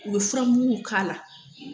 U bɛ fura mugu k'a la